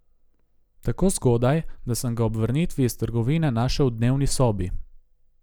Tako zgodaj, da sem ga ob vrnitvi iz trgovine našel v dnevni sobi.